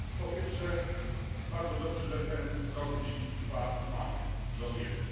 Po pierwsze, bardzo dobrze, że ten Rok Dziedzictwa mamy, że on jest.